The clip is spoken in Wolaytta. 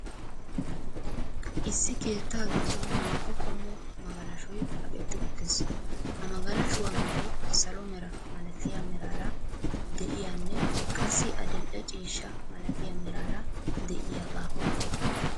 Issi keettaa giddon naa"u qommo magalashoy kaqetti uttiis. Ha magalashuwa meray salo mera malatiya meraara de'iyanne qassi adil"e ciishshaa malatiya meraara de'iyagaa.